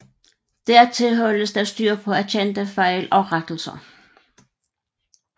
Dertil holdes der styr på erkendte fejl og rettelser